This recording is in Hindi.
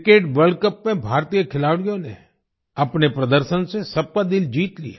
क्रिकेट वर्ल्ड कप में भारतीय खिलाड़ियों ने अपने प्रदर्शन से सबका दिल जीत लिया